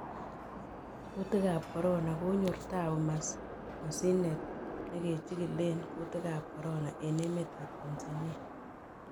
Kutiik ab corona: Konyor taapu masinet neke chigilen kutik ab corona en emet ab Tanzania